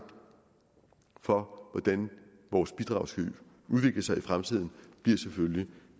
for hvordan vores bidrag skal udvikle sig i fremtiden bliver selvfølgelig